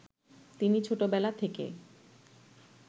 তিনি ছোটবেলা থেকে